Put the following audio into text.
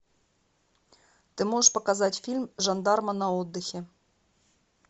ты можешь показать фильм жандарма на отдыхе